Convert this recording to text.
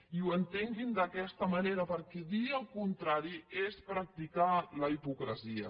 i ho entenguin d’aquesta manera perquè dir el contrari és practicar la hipocresia